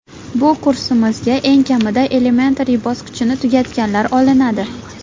Bu kursimizga eng kamida Elementary bosqichini tugatganlar olinadi.